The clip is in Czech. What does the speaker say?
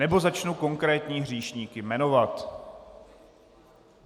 Nebo začnu konkrétní hříšníky jmenovat.